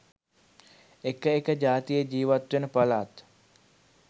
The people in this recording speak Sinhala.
එක එක ජාතිය ජීවත්වෙන පළාත්